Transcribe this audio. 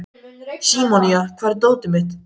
Símonía, hvar er dótið mitt?